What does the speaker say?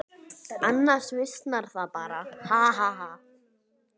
Annars visnar það bara, ha.